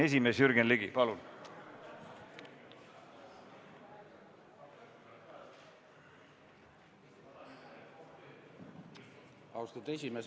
Austatud juhataja!